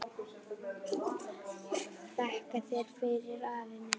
Þakka þér fyrir, afi minn.